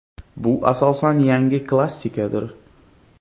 Bu asosan yangi klassikadir.